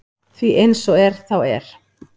Því eins og er þá er